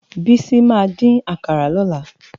Bisi má din àkárá lòlá